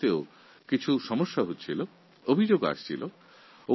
শিক্ষার্থীদের স্কলারশিপের অর্থ নিয়েও অনেক সমস্যা ছিল অনেক অভিযোগ আসছিল